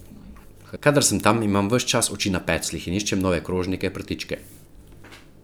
Kadar sem tam, imam ves čas oči na pecljih in iščem nove krožnike, prtičke ...